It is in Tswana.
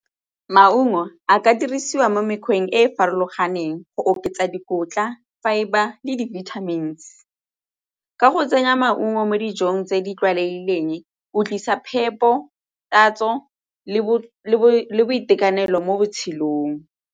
Maungo a ka dirisiwa mo mekgweng e e farologaneng go oketsa dikotla, fibre le di-vitamins. Ka go tsenya maungo mo dijong tse di tlwaelegileng o tlisa phepo, tatso le boitekanelo mo botshelong.